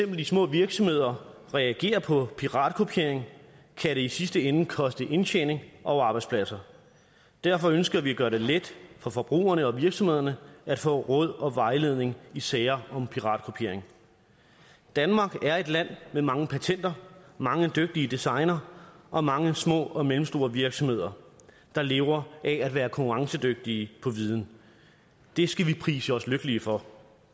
de små virksomheder reagerer på piratkopiering kan det i sidste ende koste indtjening og arbejdspladser derfor ønsker vi at gøre det let for forbrugerne og virksomhederne at få råd og vejledning i sager om piratkopiering danmark er et land med mange patenter mange dygtige designere og mange små og mellemstore virksomheder der lever af at være konkurrencedygtige på viden det skal vi prise os lykkelige for